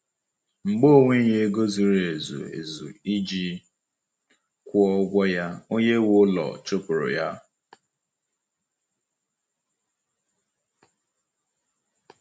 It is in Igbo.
Mgbe ọ nweghị ego zuru ezu ezu iji kwụọ ụgwọ ya, onye nwe ụlọ chụpụụrụ ya.